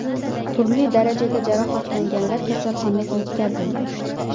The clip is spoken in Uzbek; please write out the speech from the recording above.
Turli darajada jarohatlanganlar kasalxonaga yetkazildi.